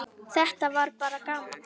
Þetta var bara gaman.